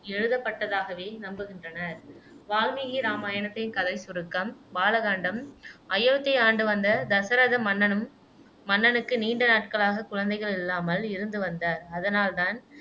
எழுதப்பட்டதாகவே நம்புகின்றனர் வால்மீகி இராமாயணத்தை கதைச் சுருக்கம் பால காண்டம் அயோத்தியை ஆண்டு வந்த தசரத மன்னனும் மன்னனுக்கு நீண்ட நாட்களாக குழந்தைகள் இல்லாமல் இருந்து வந்தார் அதனால் தான்